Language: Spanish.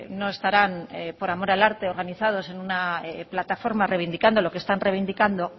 no estarán por amor al arte organizados en una plataforma reivindicando lo que están reivindicando